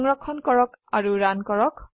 সংৰক্ষণ কৰক ৰান কৰক